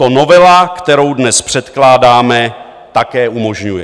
To novela, kterou dnes předkládáme, také umožňuje.